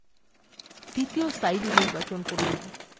দ্বিতীয় slide নির্বাচন করুন